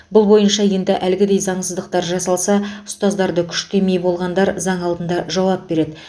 бұл бойынша енді әлгідей заңсыздықтар жасалса ұстаздарды күштемек болғандар заң алдында жауап береді